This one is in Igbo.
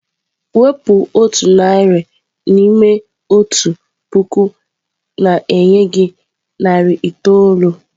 Wepụ otu narị n'ime otu puku na-enye gị narị itoolu.